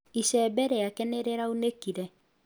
Icembe rĩake nĩ rĩraunĩkire